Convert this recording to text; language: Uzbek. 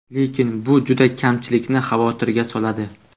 Lekin bu juda kamchilikni xavotirga soladi.